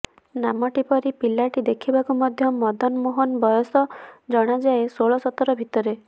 ନାମଟି ପରି ପିଲାଟି ଦେଖିବାକୁ ମଧ୍ୟ ମଦନମୋହନ ବୟସ ଜଣାଯାଏ ଷୋଳ ସତର ଭିତରେ